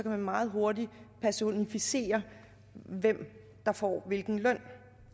man meget hurtigt personificere hvem der får hvilken løn